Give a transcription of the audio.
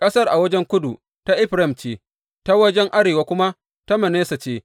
Ƙasar a wajen kudu ta Efraim ce, ta wajen arewa kuma ta Manasse ce.